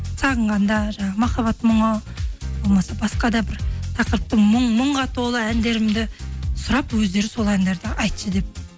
сағынғанда жаңағы махаббат мұңы болмаса басқа да бір тақырыптың мұңға толы әндерімді сұрап өздері сол әндерді айтшы деп